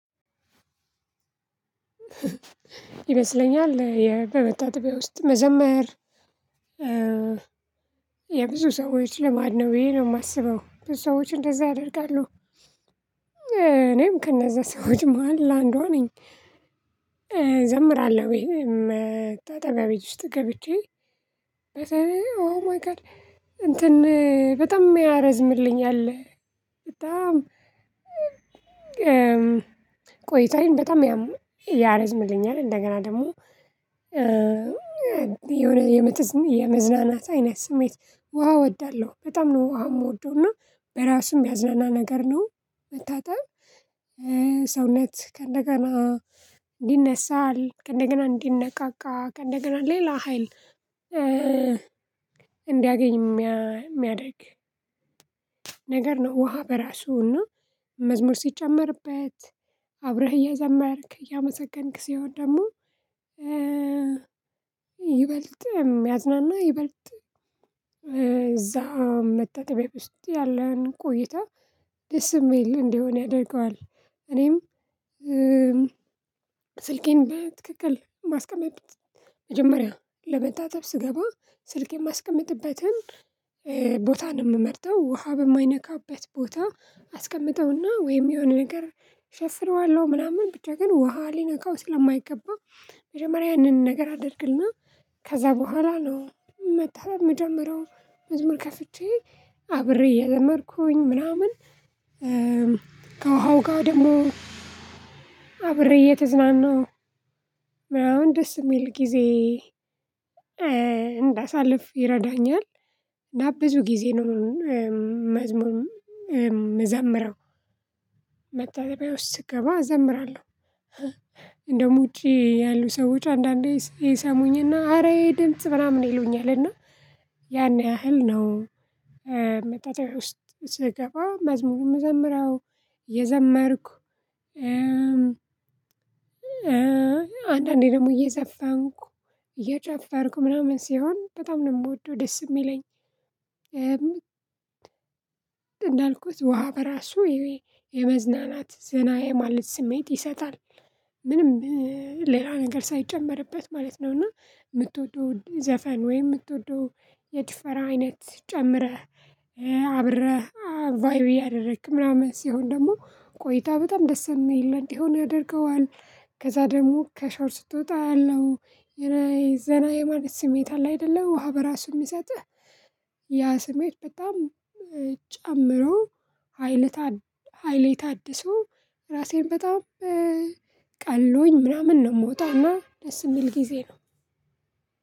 ይበስለኛል በመጣጠብያ ውስጥ መዘመር የብዙ ሰዎች ልማድ ነው ብዬ ነው የማስበው ሰዎች እንደዛ አደርጋለሁ። እኔም ከነዛ ሰዎች መሃል አንዷ ነኝ። እዘምራለሁ ወይ መጣጠቢያ ውስጥ ገብቼ ኦ ማይ ጋድ እንትን በጣም የሚያረዝምልኛል በጣም ቆይታዬን በጣም ያም ያረዝምልኛል። እንደገና ደግሞ የሆነ የምትዝ የመዝናናት አይነት ስሜት ውሃ እወዳለሁ በጣም ነው ውሃ የምወደው እና በራሱም ያዝናና ነገር ነው። መታጠብ ሰውነት ከእንደገና እንዲነሳል ከእንደገና እንዲነቃቃ ከእንደገና እንደገና ሌላ ሀይል እንዲያገኝ የሚያደርግ ነገር ነው። ውሃ በራሱና መዝሙር ሲጨመርበት አብረህ እያዘመርክ እያመሰገንክ ሲሆን ደግሞ ይበልጥም ያዝናና ይበልጥ እዛ መጣጠብያ ውስጥ ያለን ቆይታ ደስ የሚል እንደሆነ ያደርገዋል። እኔም ስልኬን በትክክል ማስቀመጥ መጀመሪያ ለመጣጠብ ስገባ ስልክ የማስቀምጥበትን ቦታ ነው የምመርጠው ውሃ በማይነካበት ቦታ አስቀምጠውና ወይም የሆነ ነገር ሸፍነዋለሁ ምናምን ብቻ ግን ውሃ ሊነካው ስለማይገባ። መጀመሪያ ያንን ነገር አድርግና ከዛ በኋላ ነው መታጠብ ምጀመሪያው መዝሙር ከፍቼ አብሬ የደመርኩኝ ምናምን ጋር ደግሞ አብሬ እየተዝናናው አሁን ደስ የሚል ጊዜ እንዳሳልፍ ይረዳኛል። ና ብዙ ጊዜ ነው መዝሙር ምዘምረው መታጠቢያ ውስጥ ስገባ እዘምራለሁ። እንደውም ውጪ ያሉ ሰዎች አንዳንዴ ይሰሙኝና አረ ይሄ ድምጽ ምናምን ይሉኛልና ያን ያህል ነው። መታጠቢያ ውስጥ ስገባ መዝሙርም ምዘምረው የዘመርኩ አንዳንዴ ደግሞ እየዘፋንኩ እየጨፈርኩ ምናምን ሲሆን በጣም ነው የምወደው ደስ የሚለኝ። እንዳልኩት ውሃ በራሱ የመዝናናት ዘና የማለት ስሜት ይሰጣል ምንም ሌላ ነገር ሳይጨመርበት ማለት ነው። እና ምትወደው ዘፈን ወይ የምትወደው የጭፈራ አይነት ጨምረህ አብረህ ቫይብ እያደረግክ ምናምን ሲሆን ደግሞ ቆይታ በጣም ደስ የሚል እንዲሆን ያደርገዋል። ከዛ ደግሞ ከሻወር ስትወጣ ያለው የረይ ዘና የማለት ስሜት አለ አይደለም ውሃ በራሱ የሚሰጥህ ያ ስሜት በጣም ጨምሮ ሃይሌ ታድሶ ራሴን በጣም ቀል ምናምን ነው የምወጣማ ደስ የሚል ጊዜ ነው።